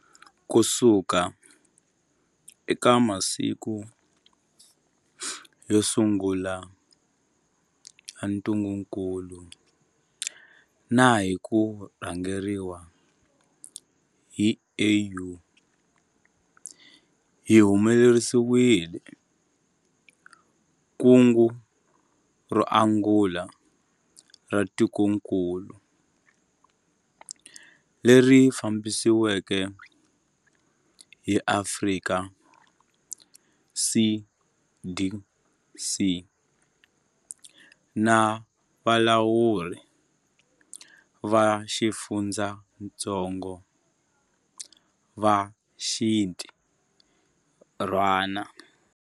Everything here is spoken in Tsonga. Kusuka eka masiku yo sungula ya ntungukulu na hi ku rhangeriwa hi AU, hi humelerisile kungu ro angula ra tikokulu, leri fambisiweke hi Afrika CDC na valawuri va xifundzatsongo va xintirhwana.